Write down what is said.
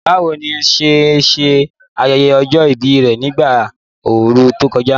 Báwo ni Nia ṣe ṣe ayẹyẹ ọjọ́ ìbí rẹ̀ ní ìgbà ooru tó kọjá?